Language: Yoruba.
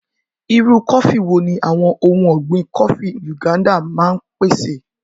Irú kọfí wo ni àwọn ohun ọ̀gbìn Kọfí Nganda máa ń pèsè?